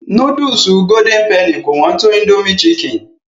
Núdùsù Golden penny kò hán tó Indomie chicken.